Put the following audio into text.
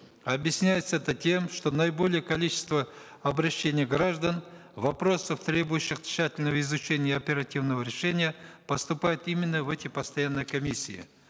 объясняется это тем что наиболее количество обращений граждан вопросов требующих тщательного изучения и оперативного решения поступают именно в эти постоянные комиссии